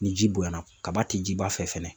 Ni ji bonyana , kaba ti jiba fɛ fɛnɛ.